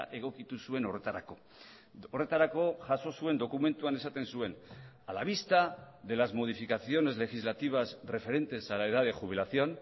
egokitu zuen horretarako horretarako jaso zuen dokumentuan esaten zuen a la vista de las modificaciones legislativas referentes a la edad de jubilación